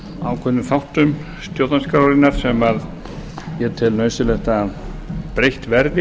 ákveðnum þáttum stjórnarskrárinnar sem ég tel nauðsynlegt að breytt verði